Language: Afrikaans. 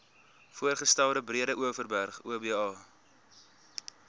voorgestelde breedeoverberg oba